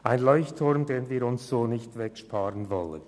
Es ist ein Leuchtturm, den wir nicht wegsparen wollen.